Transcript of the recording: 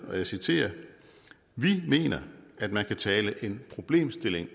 og jeg citerer vi mener at man kan tale en problemstilling